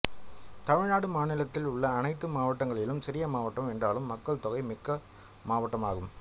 தமிழ்நாடு மாநிலத்தில் உள்ள அனைத்து மாவட்டங்களிலும் சிறிய மாவட்டம் என்றாலும் மக்கள்தொகை மிக்க மாவட்டம் ஆகும்